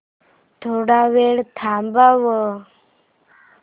थोडा वेळ थांबव